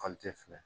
filɛ